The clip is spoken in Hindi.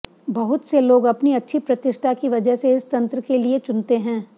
बहुत से लोग अपनी अच्छी प्रतिष्ठा की वजह से इस तंत्र के लिए चुनते हैं